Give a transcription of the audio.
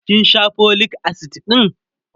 kin Sha folic acid ɗin?